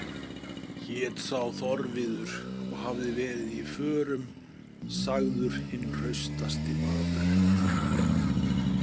Hét sá Þorviður og hafði verið í förum, sagður hinn hraustasti maður.